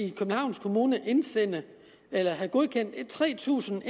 i københavns kommune skal indsende eller have godkendt tre tusind